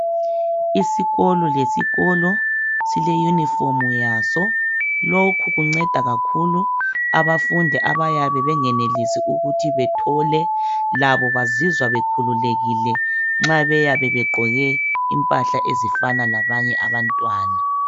Isikolo lesikolo sileyunifomu yaso lokhu kunceda kakhulu abafundi abayabe bengenelisi ukuthi bethole labo bazizwa bekhululekile nxa beyabe begqoke impahla ezifana labanye abantwana